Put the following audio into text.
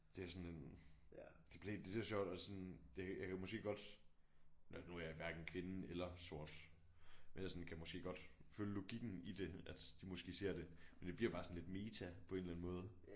Det er sådan en det bliver helt det er så sjovt også sådan det jeg kan måske godt når nu er jeg hverken kvinde eller sort men jeg sådan kan måske godt følge logikken i det at de måske ser det men det bliver jo bare sådan lidt meta på en eller anden måde